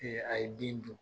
A ye bin dun